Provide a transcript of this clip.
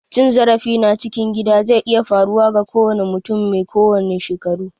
Cin zarafi na cikin gida zai iya faruwa ga kowanne mutum mai kowanne shekaru.